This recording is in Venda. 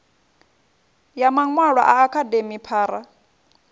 ya maṅwalwa a akademi phara